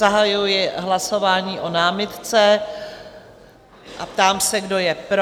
Zahajuji hlasování o námitce a ptám se, kdo je pro.